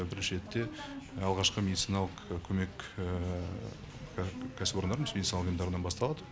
бірінші ретте алғашқы медициналық көмек кәсіпорындарынан басталады